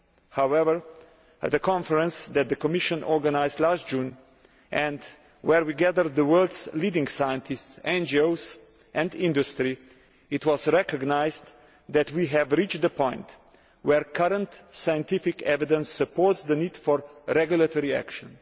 However, at the conference that the Commission organised last June, which brought together the world's leading scientists, NGOs and industry, it was recognised that we have reached the point where current scientific evidence supports the need for regulatory action.